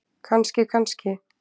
Kannski, kannski!